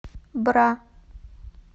бра